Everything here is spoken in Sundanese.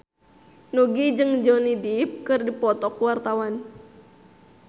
Nugie jeung Johnny Depp keur dipoto ku wartawan